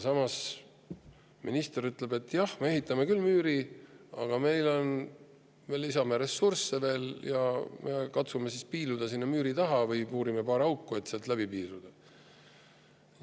Samas, minister ütleb, et jah, me ehitame müüri, aga lisame sinna veel ressursse ja katsume sinna müüri taha piiluda, või puurime paar auku, et sealt läbi piiluda.